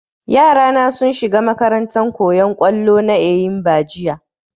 yara na sun shiga makarantan koyan kollo na eyimba jiya